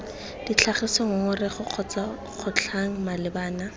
tlhagisa ngongorego kgotsa kgotlhang malebana